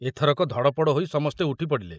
ଏଥରକ ଧଡ଼ପଡ଼ ହୋଇ ସମସ୍ତେ ଉଠି ପଡ଼ିଲେ।